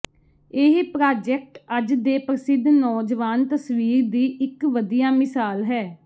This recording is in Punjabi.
ਇਹ ਪ੍ਰਾਜੈਕਟ ਅੱਜ ਦੇ ਪ੍ਰਸਿੱਧ ਨੌਜਵਾਨ ਤਸਵੀਰ ਦੀ ਇਕ ਵਧੀਆ ਮਿਸਾਲ ਹੈ